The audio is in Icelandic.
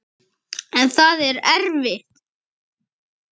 En það er erfitt.